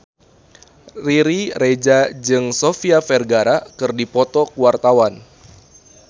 Riri Reza jeung Sofia Vergara keur dipoto ku wartawan